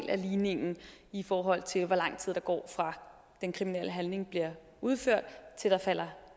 af ligningen i forhold til hvor lang tid der går fra den kriminelle handling bliver udført til der falder